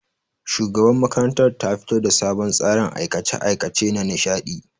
Shugabar makarantar ta fito da sabon tsarin aikace-aikace nanishadi